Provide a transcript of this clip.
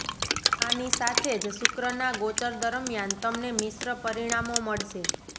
આની સાથેજ શુક્ર ના ગોચર દરમિયાન તમને મિશ્ર પરિણામો મળશે